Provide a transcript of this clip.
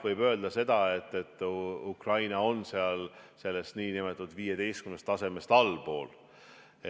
Võib öelda, et Ukraina on sellest nn 15 tasemest allpool.